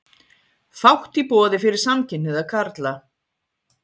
Fátt í boði fyrir samkynhneigða karla